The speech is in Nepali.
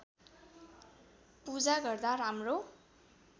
पूजा गर्दा राम्रो